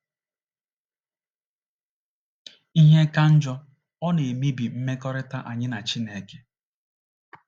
Ihe ka njọ, ọ na-emebi mmekọrịta anyị na Chineke.